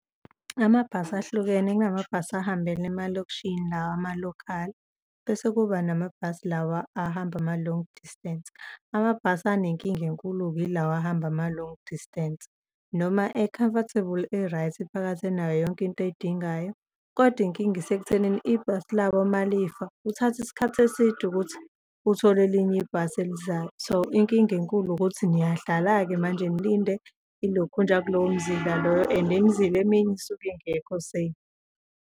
Amabhasi ahlukene kunamabhasi ahambele emalokishini lawa ama-local bese kuba namabhasi lawa ahamba ama-long distance. Amabhasi anenkinga enkulu-ke yilawa ahamba ama-long distance noma e-comfortable, e-right, phakathi enayo yonke into oyidingayo kodwa inkinga isekuthenini, ibhasi labo uma lifa kuthatha isikhathi eside ukuthi uthole elinye ibhasi elizayo. So, inkinga enkulu ukuthi niyahlala-ke manje nilinde ilokhunja kulowo mzila loyo and imizila eminye isuke ingekho safe.